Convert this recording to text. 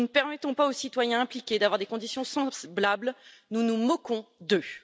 Si nous ne permettons pas aux citoyens impliqués d'avoir des conditions semblables, nous nous moquons d'eux.